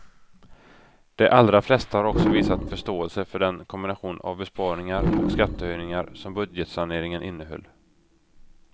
De allra flesta har också visat förståelse för den kombination av besparingar och skattehöjningar som budgetsaneringen innehöll.